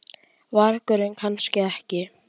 vargurinn, kannski ekki.